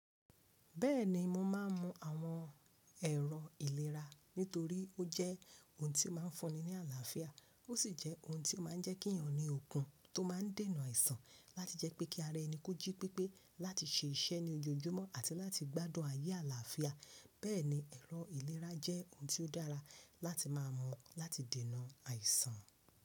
Bẹ́ẹ̀ni mo máa ń mu àwọn ẹ̀rọ ìlera nítorí ó jẹ́ ohun tí ó máa ń fúnni ní àlàáfíà ó sì jẹ́ ohun tí ó máa ń jẹ́ kí èèyàn ní okun tó máa ń dènà àìsàn láti jẹ́ pé kí ara ẹni kójí pépé láti ṣe iṣẹ́ ní ojoojúmọ́ àti láti gbádùn ayé àlàáfíà. Bẹ́ẹ̀ni ẹ̀rọ ìlera jẹ́ ohun tí ó dára láti máa mu láti dènà àìsàn.